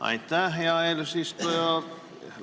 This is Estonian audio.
Aitäh, hea eesistuja!